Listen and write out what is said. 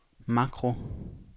makro